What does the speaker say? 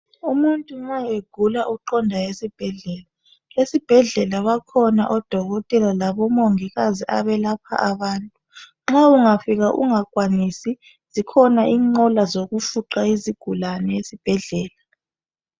Umuntu nxa egula uqonda esibhedlela. Esibhedlela bakhona odokotela labomongikazi belapha abantu. Nxa ungafika ungakwanisi zikhona inqola zokufuqa izigulane esibhedlela.